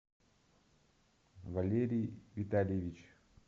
валерий витальевич